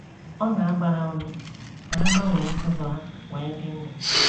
Ọ na - agba ha ume ka ha gbanwee ụzọ ha wee dị ndụ.